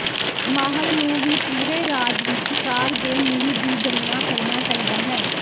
ਮਾਹਰ ਨੂੰ ਵੀ ਪੂਰੇ ਰਾਜ ਵਿੱਚ ਕਾਰ ਦੇ ਮੁੱਲ ਦੀ ਗਣਨਾ ਕਰਨਾ ਚਾਹੀਦਾ ਹੈ